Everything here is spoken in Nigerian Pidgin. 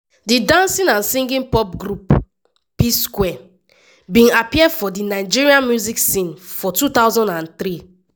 di dancing and singing pop group p-square bin appear for di nigeria music scene for 2003.